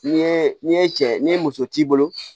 N'i ye n'i ye cɛ ni muso t'i bolo